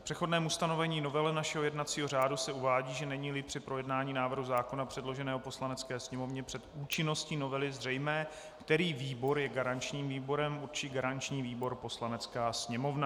V přechodném ustanovení novely našeho jednacího řádu se uvádí, že není-li při projednání návrhu zákona předloženého Poslanecké sněmovně před účinností novely zřejmé, který výbor je garančním výborem, určí garanční výbor Poslanecká sněmovna.